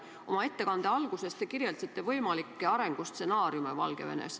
Oma ettekande alguses te kirjeldasite võimalikke arengustsenaariume Valgevenes.